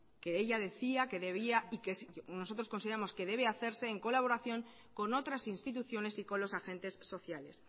que ella decía que debía y que nosotros consideramos que debe hacerse en colaboración con otras instituciones y con los agentes sociales